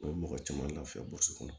A bɛ mɔgɔ caman lafiya burusi kɔnɔ